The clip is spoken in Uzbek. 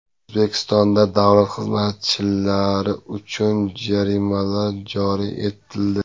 O‘zbekistonda davlat xizmatchilari uchun jarimalar joriy etildi.